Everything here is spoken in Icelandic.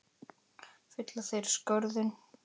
Fylla þeir skörðin?